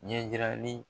Ɲɛjirali